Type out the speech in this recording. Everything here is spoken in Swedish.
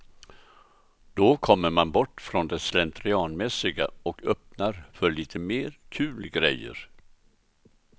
Då kommer man bort från det slentrianmässiga och öppnar för lite mer kul grejer.